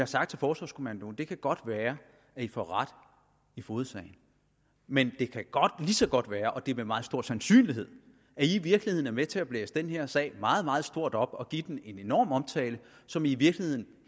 sagt til forsvarskommandoen det kan godt være at i får ret i fogedsagen men det kan ligeså godt være og med meget stor sandsynlighed at i i virkeligheden er med til at blæse den her sag meget meget stort op og give den en enorm omtale som i i virkeligheden